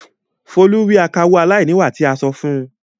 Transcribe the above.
Folú rí akawó aláìníwà tí a sọ fún un.